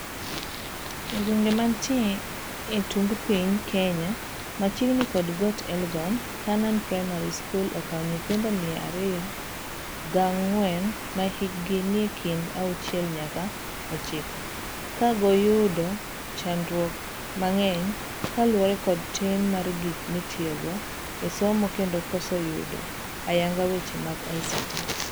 Egwenge mantie etung piny Kenya, machiegni kod got Elgon, Canaan Primary School okawo nyithindo mia ariyo ga gang'wenmahikgi nie kind auchiel nyaka ochiko. kagoyudo chandruok mang'eny kaluwore kod tin mar gik mitiyogo esomo kendo koso yudo AYANGA weche mag ICT.